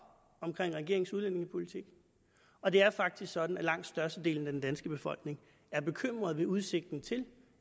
regeringens udlændingepolitik og det er faktisk sådan at langt størstedelen af den danske befolkning er bekymret ved udsigten til